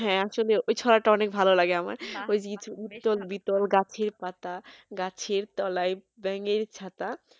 হ্যাঁ আসলে ওই ছড়াটা অনেক ভালো লাগে আমার ওই যে ইতল বিতলগাছের পাতা গাছের তলায় ব্যাঙের ছাতা